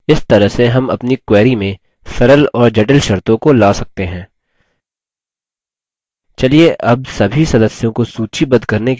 इस तरह से हम अपनी query में सरल और जटिल शर्तों को ला सकते हैं